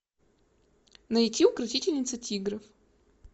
найти укротительница тигров